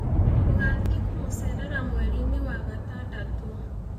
Tũgathiĩ kũmũceerera mweri-inĩ wa gatandatũ.